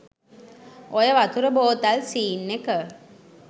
ඔය වතුර බෝතල් සීන් එක